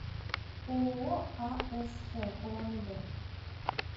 ооо асф улан удэ